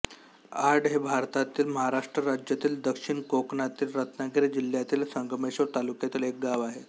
आड हे भारतातील महाराष्ट्र राज्यातील दक्षिण कोकणातील रत्नागिरी जिल्ह्यातील संगमेश्वर तालुक्यातील एक गाव आहे